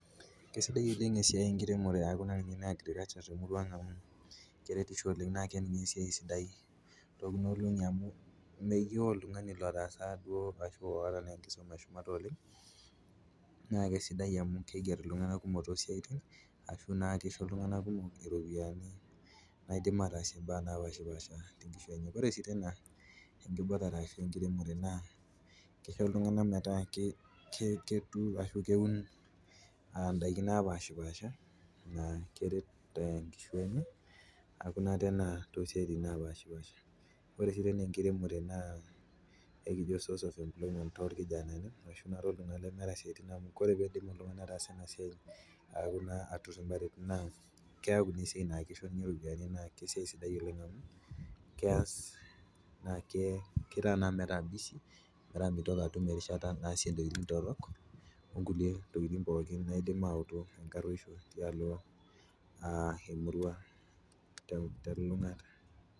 Kesidai oleng esiai enkiremore aaku naa agriculture te murruang' amu keretisho oleng naa kee ninye esiai sidai amu meyeu oltungani lotaasa duo ashu loota enkisuma e shumata oleng, naa kesidai amuu keiger ltungana kumok to siatin ashu naa keisho ltunganak kumok iropiyiani naidim ataasiye imbaa napaashpasha te enkishui enye, ore sii tee nena ankirubata enkiremore naa keisho ltungana metaa keturr ashu keun indaki napashpaasha naa keret enkishui enye aaku naa te siatin napaashpaasha, ore dei sii niniye enkiremore naa ekijo source of employment too ilkijanani ashu taa to ltungana lemeeta siatin amuu ore peidip oltungani ataasa ena siaai naa keaku esiaii naa keisho ninye iropiyiani, naa kesiai sidai oleng amuu keyas naa ker naa metaa busy metaa meitoki atum erishata naasie ntokitin torrok onkule tokitin pookin naidim ayeutu inkaraisho tialo emila.